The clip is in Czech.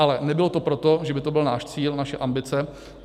Ale nebylo to proto, že by to byl náš cíl, naše ambice.